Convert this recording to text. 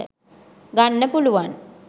ගන්න පුළුවන්